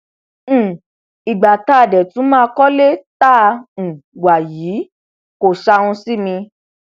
um ìgbà tá a dé tún máa kọlé tá um a wà yìí kò ṣàhùn sí mi